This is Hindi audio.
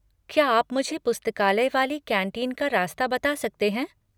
क्या आप मुझे पुस्तकालय वाली कैंटीन का रास्ता बता सकते हैं?